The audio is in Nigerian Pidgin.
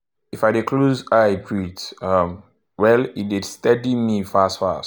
i dey think straight and feel calm when i meditate.